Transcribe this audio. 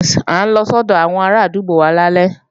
À ń lọ sọ́dọ̀ àwọn arádúgbò wa lálẹ́